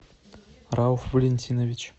рауф валентинович